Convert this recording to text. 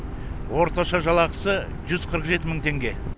орташа жалақысы жүз қырық жеті мың теңге